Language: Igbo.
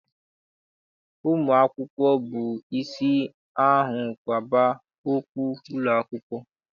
Ụmụ akwụkwọ bụ isi ahụrụ kwaba okpu n'ụlọakwụkwọ.